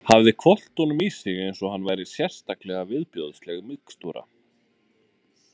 Hafði hvolft honum í sig eins og hann væri sérstaklega viðbjóðsleg mixtúra.